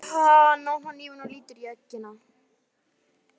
Hann opnar hnífinn og lítur í eggina.